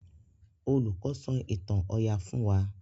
Olùkó sọ ìtàn oyà fún wá.